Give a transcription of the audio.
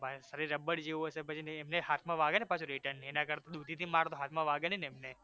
rubber જેવું હશે ને પછી ને અમને હાથ માં વાગે ને return એના કર દુુુુધીથી મારે તો હાથમાં વાગે નહિ ને એમને